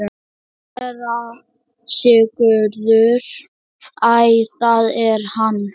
SÉRA SIGURÐUR: Æ, það er hann!